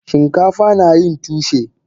Shinkafa nayin tushe.